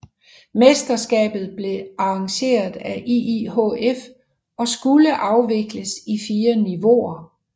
Mesterskabet blev arrangeret af IIHF og skulle afvikles i fire niveauer